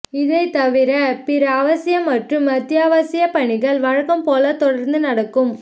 இவை தவிர பிற அவசிய மற்றும் அத்தியாவசிய பணிகள் வழக்கம் போல தொடர்ந்து நடக்கும்